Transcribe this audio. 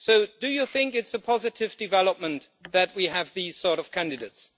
Do you think it's a positive development that we have this sort of candidates?